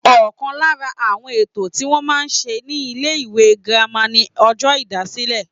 Ọ̀kan lára àwọn ètò tí wọ́n máa ń ṣe ní ilé ìwé girama ni ọjọ́ ìdásílẹ̀